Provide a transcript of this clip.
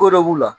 Ko dɔ b'u la